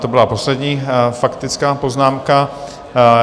To byla poslední faktická poznámka.